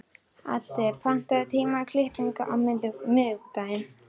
Addi, pantaðu tíma í klippingu á miðvikudaginn.